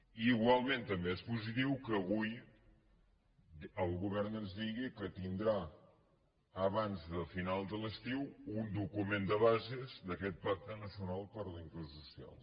i igualment també és positiu que avui el govern ens digui que tindrà abans de final de l’estiu un document de bases d’aquest pacte nacional per la inclusió social